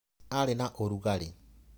Arĩ na ũrugarĩ.